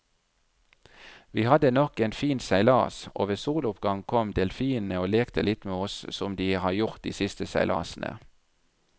Vi hadde nok en fin seilas, og ved soloppgang kom delfinene og lekte litt med oss som de har gjort de siste seilasene.